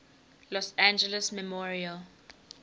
los angeles memorial